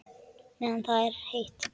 Meðan það er heitt.